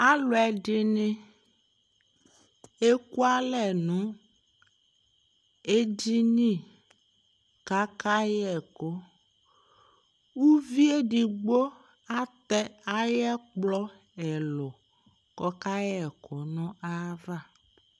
Alʋɛdɩnɩ eku alɛ nʋ edini k'aka yɛkʋ Uvi edigbo atɛ ay'ɛkplɔ ɛlʋ k'ɔkayɛkʋ nʋ ayava